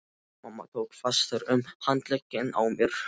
Mamma tók fastar um handlegginn á mér.